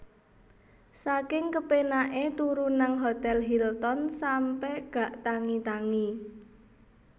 Saking kepenak e turu nang Hotel Hilton sampe gak tangi tangi